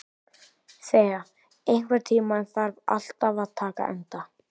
Thea, einhvern tímann þarf allt að taka enda.